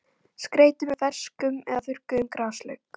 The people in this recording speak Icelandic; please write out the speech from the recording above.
Skreytið með ferskum eða þurrkuðum graslauk.